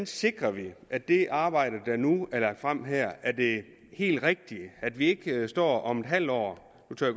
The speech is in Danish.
sikrer at det arbejde der nu er lagt frem her er det helt rigtige at vi ikke står om et halvt år nu tør